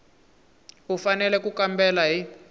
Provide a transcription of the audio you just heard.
u fanele ku kambela hi